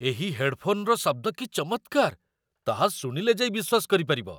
ଏହି ହେଡ୍‌ଫୋନ୍‌ର ଶବ୍ଦ କି ଚମତ୍କାର, ତାହା ଶୁଣିଲେ ଯାଇ ବିଶ୍ୱାସ କରିପାରିବ!